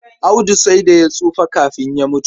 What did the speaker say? Audu sai da ya tsufa kafin ya mutu.